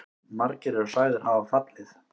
Margir eru sagðir hafa fallið.